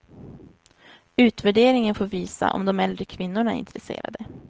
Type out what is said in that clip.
Utvärderingen får visa om de äldre kvinnorna är intresserade.